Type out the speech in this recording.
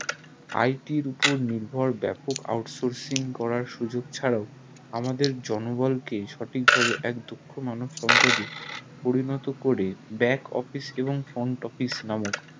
IT র উপর নির্ভর ব্যাপক out sourcing করা ছাড়াও আমাদের জন বল কে সঠিক ভাবে এক দক্ষ মানব সম্পদে পরিণত করে back office এবং front office নামক